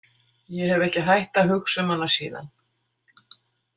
Ég hef ekki hætt að hugsa um hana síðan.